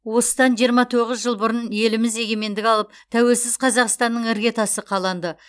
осыданжиырма тоғыз жыл бұрын еліміз егемендік алып тәуелсіз қазақстанның іргетасы қаланды